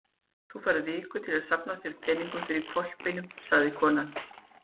Þú færð viku til að safna þér peningum fyrir hvolpinum, sagði konan.